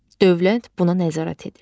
Dövlət buna nəzarət edir.